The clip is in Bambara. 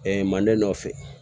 manden nɔ fɛ